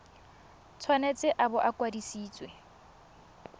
tshwanetse a bo a kwadisitswe